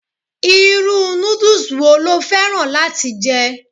Irú noodles wo lo fẹ́ràn láti jẹ?